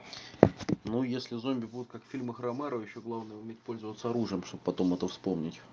ну если зомби будут как в фильмах ромеро ещё главное уметь пользоваться оружием чтобы потом это вспомнить